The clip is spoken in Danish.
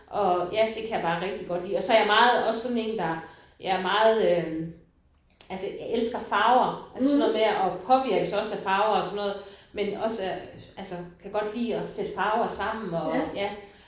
Og ja det kan jeg bare rigtig godt lide. Og så er jeg meget også sådan en der jeg er meget øh altså jeg elsker farver altså sådan noget med og påvirkes også af farver og sådan noget men også af altså kan godt lide at sætte farver sammen og ja